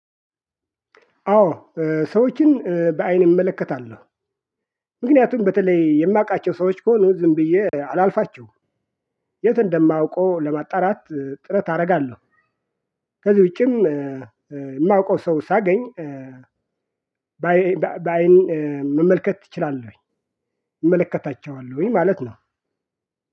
አዎ ሰዎችን በአይኔ እመለከታለሁ። ምክንያቱም በተለይ የማውቃቸው ሰዎች ከሆኑ ዝም ብዬ አላልፋቸውም። የት እንደማውቀው ለማጣራት ጥረት አደርጋለሁ። ከዚህ ውጪም የማውቀው ሰው ሳገኝ በአይን መመልከት እችላለሁኝ። እመለከታቸዋለሁኝ ማለት ነው።